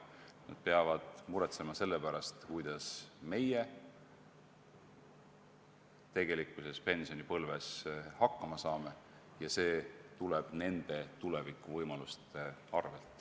Nad peavad muretsema selle pärast, kuidas meie pensionipõlves hakkama saame, ja see tuleb nende tulevikuvõimaluste arvel.